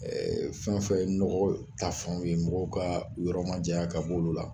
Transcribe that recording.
Ɛɛ fɛn o fɛn ye nɔgɔ ta fan ye mɔgɔw ka u yɔrɔ majanya ka b'olu la